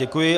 Děkuji.